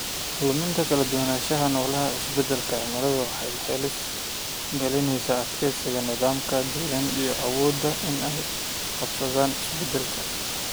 Luminta kala duwanaanshaha noole ee isbeddelka cimiladu waxay halis gelinaysaa adkeysiga nidaamka deegaanka iyo awooddooda inay la qabsadaan isbeddelka.